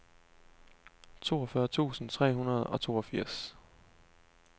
toogfyrre tusind tre hundrede og toogfirs